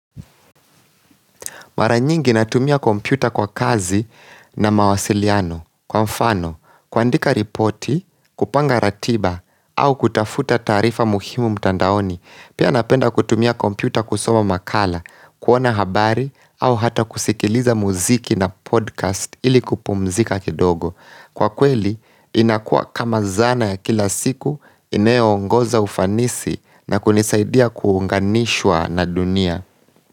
Mara nyingi natumia kompyuta kwa kazi na mawasiliano kwa mfano kuandika ripoti, kupanga ratiba au kutafuta taarifa muhimu mtandaoni Pia napenda kutumia kompyuta kusoma makala, kuona habari au hata kusikiliza muziki na podcast ili kupumzika kidogo Kwa kweli inakuwa kama zana ya kila siku inayo ongoza ufanisi na kunisaidia kuunganishwa na dunia.